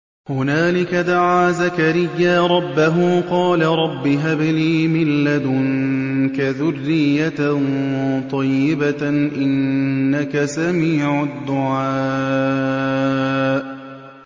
هُنَالِكَ دَعَا زَكَرِيَّا رَبَّهُ ۖ قَالَ رَبِّ هَبْ لِي مِن لَّدُنكَ ذُرِّيَّةً طَيِّبَةً ۖ إِنَّكَ سَمِيعُ الدُّعَاءِ